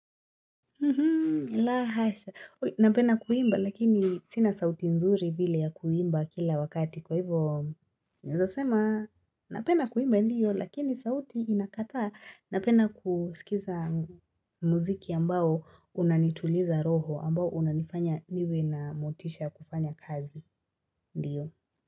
La hasha, napenda kuimba lakini sina sauti nzuri vile ya kuimba kila wakati kwa hivo naweza sema napenda kuimba ndio lakini sauti inakataa napenda kusikiza muziki ambao unanituliza roho ambao unanifanya niwe na motisha ya kufanya kazi, ndiyo.